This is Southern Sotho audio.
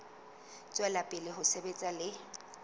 tswela pele ho sebetsa le